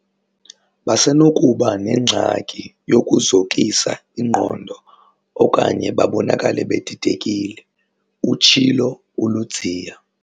"Basenokuba nengxaki yokuzokisa ingqondo okanye babonakale bedidekile, "utshilo uLudziya.